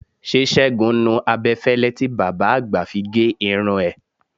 Ṣé Ṣẹ́gun nu abẹ́fẹ́lẹ́ tí bàbá àgbà fi gé irun ẹ?